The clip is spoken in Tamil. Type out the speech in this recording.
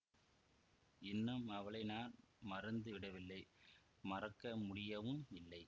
இன்னும் அவளை நான் மறந்து விடவில்லை மறக்க முடியவும் இல்லை